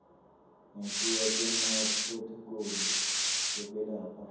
ngekuya kwemaphrothokholi ekwelapha